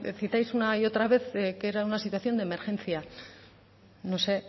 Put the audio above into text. explicáis una y otra vez que era una situación de emergencia no sé